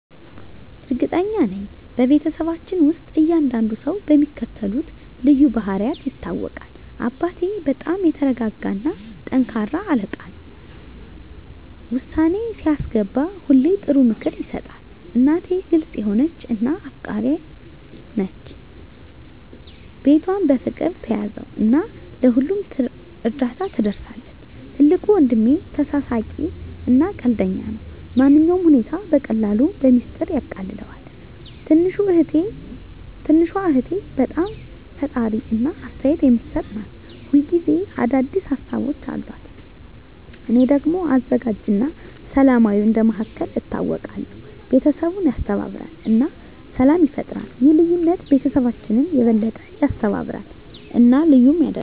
እርግጠኛ ነኝ፤ በቤተሰባችን ውስጥ እያንዳንዱ ሰው በሚከተሉት ልዩ ባህሪያት ይታወቃል - አባቴ በጣም የተረጋጋ እና ጠንካራ አለቃ ነው። ውሳኔ ሲያስገባ ሁሌ ጥሩ ምክር ይሰጣል። **እናቴ** ግልጽ የሆነች እና አፍቃሪች ናት። ቤቷን በፍቅር ትያዘው እና ለሁሉም እርዳታ ትደርሳለች። **ትልቁ ወንድሜ** ተሳሳቂ እና ቀልደኛ ነው። ማንኛውንም ሁኔታ በቀላሉ በሚስጥር ያቃልለዋል። **ትንሹ እህቴ** በጣም ፈጣሪ እና አስተያየት የምትሰጥ ናት። ሁል ጊዜ አዲስ ሀሳቦች አሉት። **እኔ** ደግሞ አዘጋጅ እና ሰላማዊ እንደ መሃከል ይታወቃለሁ። ቤተሰቡን ያስተባብራል እና ሰላም ይፈጥራል። ይህ ልዩነት ቤተሰባችንን የበለጠ ያስተባብራል እና ልዩ ያደርገዋል።